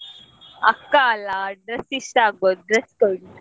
ಅಕ್ಕ ಅಲ್ಲ dress ಇಷ್ಟ ಆಗ್ಬೋದು dress ಕೊಡಿ.